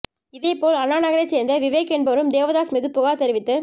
இதேபோல் அண்ணாநகரைச் சேர்ந்த விவேக் என்பவரும் தேவதாஸ் மீது புகார் தெரிவித்து